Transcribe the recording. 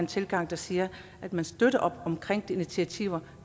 tilgang der siger at man støtter op om de initiativer